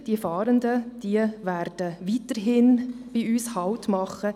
Die Fahrenden werden weiterhin bei uns Halt machen.